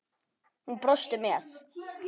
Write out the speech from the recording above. Hún brosti með